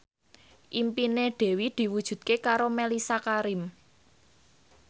impine Dewi diwujudke karo Mellisa Karim